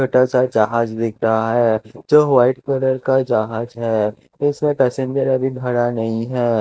छोटा सा जहाज दिख रहा है जो व्हाइट कलर का जहाज है जिसमें पैसेंजर अभी भरा नहीं है।